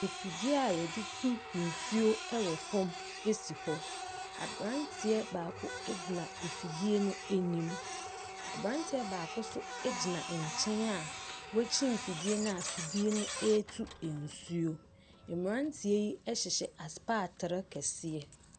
Afidie a yɛde tu nsuo ɛwɔ fam esi hɔ. Abranteɛ baako egyina afidie no anim. Abranteɛ baako nso egyina ɛnkyɛn a wakyin fidie na fidie no etu nsuo. Mmranteɛ yi ɛhyehyɛ asepatere kɛseɛ.